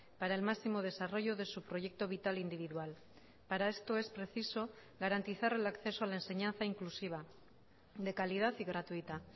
para el máximo desarrollo de su proyecto vital individual para esto es preciso garantizar el acceso a la enseñanza inclusiva de calidad y gratuita